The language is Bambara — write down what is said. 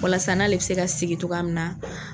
Walasa n'ale bɛ se ka sigi cogoya min na